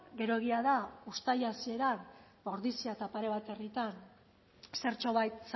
gero egia da uztaila hasieran ordizian eta pare bat herritan zertxobait